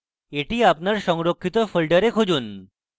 এটি আপনার সংরক্ষিত folder খুঁজুন